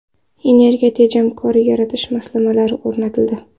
Energiya tejamkor yoritish moslamalari o‘rnatildi.